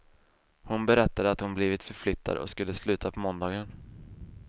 Hon berättade att hon blivit förflyttad och skulle sluta på måndagen.